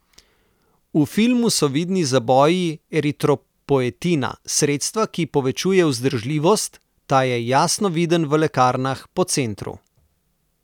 V filmu so vidni zaboji eritropoetina, sredstva, ki povečuje vzdržljivost, ta je jasno viden v lekarnah po centru.